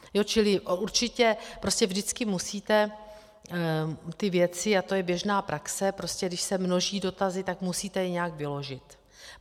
Čili určitě vždycky musíte ty věci, a to je běžná praxe, když se množí dotazy, tak je musíte nějak vyložit.